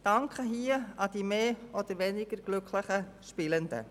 Ich richte meinen Dank an die mehr und weniger glücklichen Spielenden.